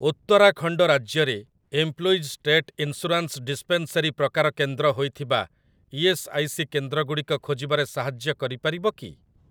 ଉତ୍ତରାଖଣ୍ଡ ରାଜ୍ୟରେ employees state insurance dispensary ପ୍ରକାର କେନ୍ଦ୍ର ହୋଇଥିବା ଇ.ଏସ୍. ଆଇ. ସି. କେନ୍ଦ୍ରଗୁଡ଼ିକ ଖୋଜିବାରେ ସାହାଯ୍ୟ କରିପାରିବ କି?